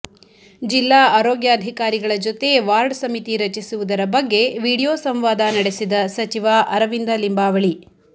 ಜಿಲ್ಲಾ ಆರೋಗ್ಯಾಧಿಕಾರಿಗಳ ಜೊತೆ ವಾರ್ಡ್ ಸಮಿತಿ ರಚಿಸುವುದರ ಬಗ್ಗೆ ವಿಡಿಯೋ ಸಂವಾದ ನಡೆಸಿದ ಸಚಿವ ಅರವಿಂದ ಲಿಂಬಾವಳಿ